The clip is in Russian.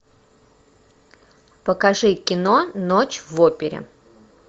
покажи кино ночь в опере